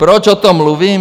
Proč o tom mluvím?